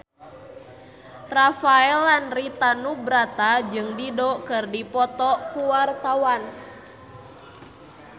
Rafael Landry Tanubrata jeung Dido keur dipoto ku wartawan